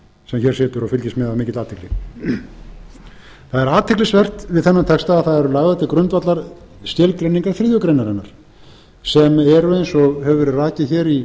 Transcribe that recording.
sem hér situr og fylgist með af mikilli athygli það er athyglisvert við þennan texta að það eru lagðar til grundvallar skilgreiningar þriðju grein sem eru eins og hefur verið rakið hér í